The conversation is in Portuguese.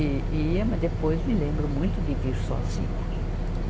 E, e ia, mas depois me lembro muito de vir sozinha.